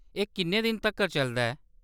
एह्‌‌ किन्ने दिनें तक्कर चलदा ऐ ?